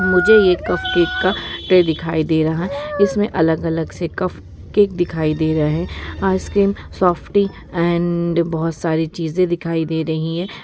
मुझे ये cupcake का ट्रे दिखाई दे रहा है | इसमें अलग अलग से कप केक दिखाई दे रहे हैं |आइसक्रीम सॉफ़्टी एंड बहुत सारी चीजें दिखाई दे रही है।